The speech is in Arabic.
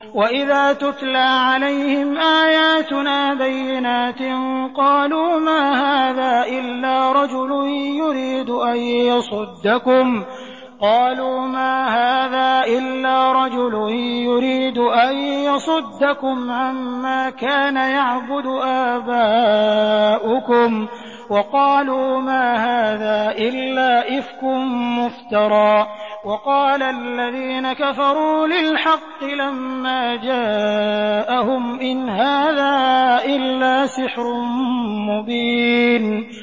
وَإِذَا تُتْلَىٰ عَلَيْهِمْ آيَاتُنَا بَيِّنَاتٍ قَالُوا مَا هَٰذَا إِلَّا رَجُلٌ يُرِيدُ أَن يَصُدَّكُمْ عَمَّا كَانَ يَعْبُدُ آبَاؤُكُمْ وَقَالُوا مَا هَٰذَا إِلَّا إِفْكٌ مُّفْتَرًى ۚ وَقَالَ الَّذِينَ كَفَرُوا لِلْحَقِّ لَمَّا جَاءَهُمْ إِنْ هَٰذَا إِلَّا سِحْرٌ مُّبِينٌ